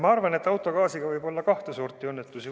Ma arvan, et autogaasiga võib olla kahte sorti õnnetusi.